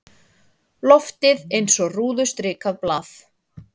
Loftið eins og rúðustrikað blað.